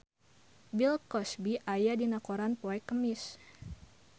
Bill Cosby aya dina koran poe Kemis